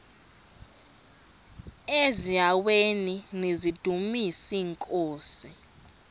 eziaweni nizidumis iinkosi